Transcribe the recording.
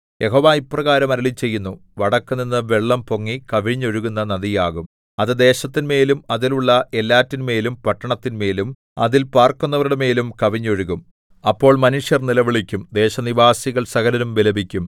യഹോവ ഇപ്രകാരം അരുളിച്ചെയ്യുന്നു വടക്കുനിന്നു വെള്ളം പൊങ്ങി കവിഞ്ഞൊഴുകുന്ന നദിയാകും അത് ദേശത്തിന്മേലും അതിലുള്ള എല്ലാറ്റിന്മേലും പട്ടണത്തിന്മേലും അതിൽ പാർക്കുന്നവരുടെ മേലും കവിഞ്ഞൊഴുകും അപ്പോൾ മനുഷ്യർ നിലവിളിക്കും ദേശനിവാസികൾ സകലരും വിലപിക്കും